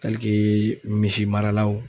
misi maralaw.